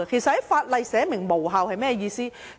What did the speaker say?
在法例中訂明無效是甚麼意思呢？